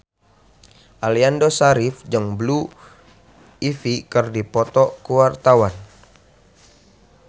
Aliando Syarif jeung Blue Ivy keur dipoto ku wartawan